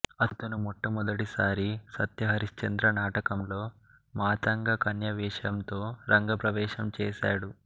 అతను మొట్టమొదట సారి సత్యహరిశ్చంద్ర నాటకంలో మాతంగ కన్య వేషంతో రంగప్రవేశం చేసాడు